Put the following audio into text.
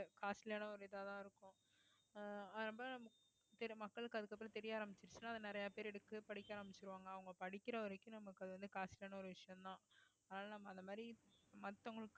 costly யான ஒரு இதாதான் இருக்கும் ஆஹ் அப்ப சரி மக்களுக்கு அதுக்கப்புறம் தெரிய ஆரம்பிச்சிருச்சுன்னா அதை நிறைய பேர் எடுத்து படிக்க ஆரம்பிச்சிருவாங்க அவங்க படிக்கிற வரைக்கும் நமக்கு அது வந்து costly ஆன ஒரு விஷயம்தான் அதனால நம்ம அந்த மாதிரி மத்தவங்களுக்கு